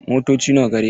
Motoci nawa gareka?